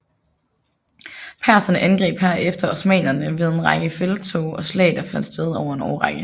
Perserne angreb herefter osmannerne ved en række felttog og slag der fandt sted over en årrække